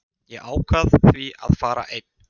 Ég ákvað því að fara einn.